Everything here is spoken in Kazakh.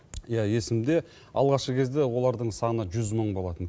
иә есімде алғашқы кезде олардың саны жүз мың болатын